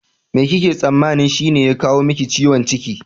Me kike tsammanin shine ya kawo miki ciwon ciki?